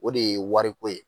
O de ye wariko ye